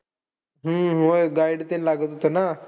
हम्म व्हय. Guide ते लागत होतं ना.